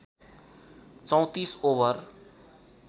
३४ over